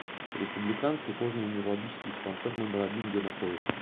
республиканский кожно венерологический диспансер номер один где находится